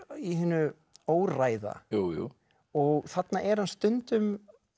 í hinu óræða og þarna er hann stundum